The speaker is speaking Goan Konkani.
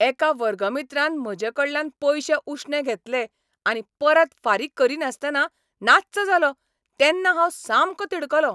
एका वर्गमित्रान म्हजेकडल्यान पयशे उश्णे घेतले आनी परत फारीक करीनासतना नाच्च जालो तेन्ना हांव सामको तिडकलों.